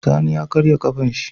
Sani ya karya kafar shi